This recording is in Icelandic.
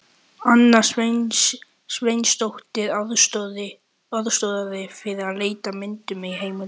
Anna Sveinsdóttir aðstoðaði við leit að myndum og heimildum.